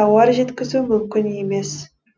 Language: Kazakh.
тауар жеткізу мүмкін емес